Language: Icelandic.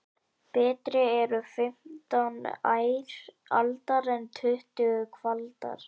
Betri eru fimmtán ær aldar en tuttugu kvaldar.